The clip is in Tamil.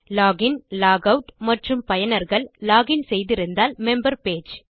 லாக் இன் லாக் ஆட் மற்றும் பயனர்கள் லாக் இன் செய்திருந்தால் மெம்பர் பேஜ்